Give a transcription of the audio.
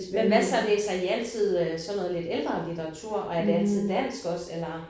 Men hvad så læser I altid øh sådan noget lidt ældre litteratur og er det altid dansk eller?